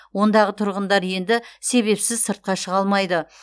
ондағы тұрғындар енді себепсіз сыртқа шыға алмайды